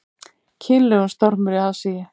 Kynlegur stormur í aðsigi